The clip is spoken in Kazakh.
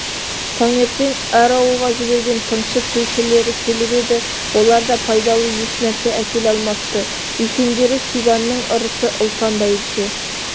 таңертең әр ауылға жіберген тыңшы тілшілері келіп еді олар да пайдалы еш нәрсе әкеле алмапты үлкендері сибанның ырысы ұлпан бәйбіше